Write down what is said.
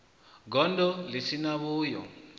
gondo ḽi si na vhuyo